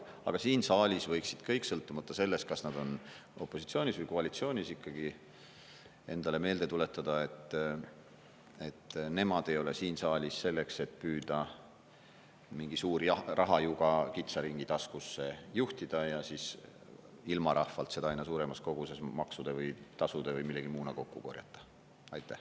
Aga siin saalis võiksid kõik, sõltumata sellest, kas nad on opositsioonis või koalitsioonis, ikkagi endale meelde tuletada, et nemad ei ole siin saalis selleks, et püüda mingi suur rahajuga kitsa ringi taskusse juhtida ja ilmarahvalt seda aina suuremas koguses maksude või tasude või millegi muuna kokku korjata.